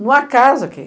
Não há casa aqui.